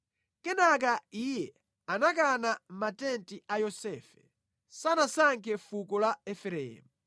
Kenaka Iye anakana matenti a Yosefe, sanasankhe fuko la Efereimu;